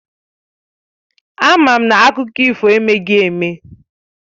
Àma m na akụkọ ifo emeghị eme